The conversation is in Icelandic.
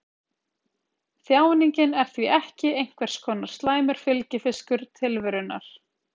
Þjáningin er því ekki einhvers konar slæmur fylgifiskur tilverunnar.